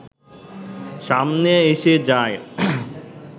সামনে এসে যায়